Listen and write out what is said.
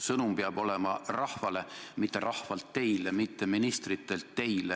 Sõnum peab olema rahvale, mitte rahvalt teile, mitte ministritelt teile.